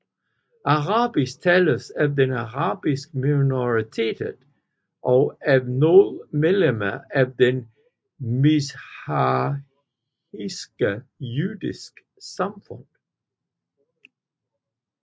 Arabisk tales af den arabiske minoritet og af nogle medlemmer af det mizrahiske jødiske samfund